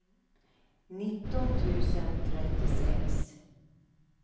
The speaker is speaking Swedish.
nitton tusen trettiosex